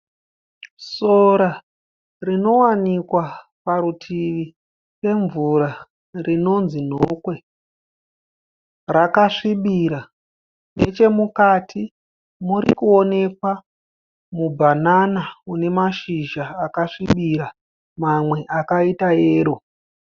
Sora rinowanikwa parutivi pemvura rinonzi nhokwe rakasvibira nechemukati muri kuonekwa mubanana une mashizha akasvibira mamwe akaita yero.